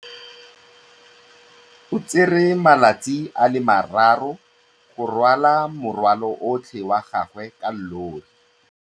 O tsere malatsi a le marraro go rwala morwalo otlhe wa gagwe ka llori.